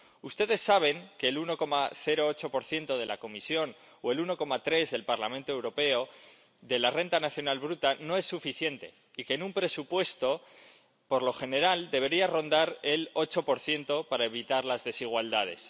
Ustedes saben que el 1,08 de la Comisión o el 1,3 del Parlamento Europeo de la Renta Nacional Bruta no es suficiente y que, en un presupuesto, por lo general debería rondar el 8 para evitar las desigualdades